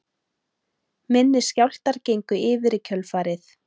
Minni skjálftar gengu yfir í kjölfarið